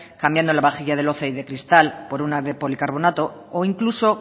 cambiando la vajilla de loza y de cristal por una de policarbonato o incluso